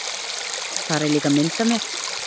Þar er líka mynd af mér.